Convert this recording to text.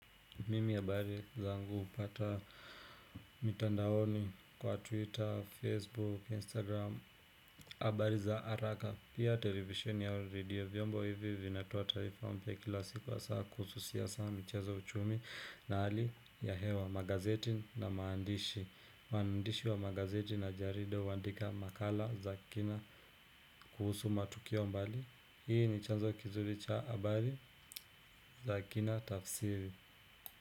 Mimi habari zangu upata mitandaoni kwa twitter, facebook, instagram, abari za araka. Pia televisheni au redio vyombo hivi vinatoa taarifa mpya kila siku hasaa kuhusu siasa mcheza uchumi na hali ya hewa magazeti na maandishi. Waandishi wa magazeti na jarida huandika makala za kina kuhusu matukio mbali. Hii ni chanzo kizuri cha abari za kina tafsiri.